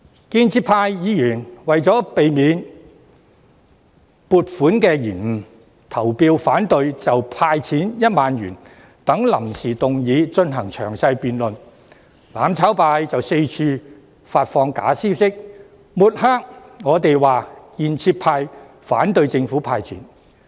建制派議員為免撥款受到延誤，於是投票反對就"派錢 "1 萬元等臨時議案進行詳細辯論，但"攬炒派"卻到處發放假消息，抹黑建制派反對政府"派錢"。